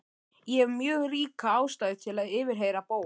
Ég hef mjög ríka ástæðu til að yfirheyra Bóas.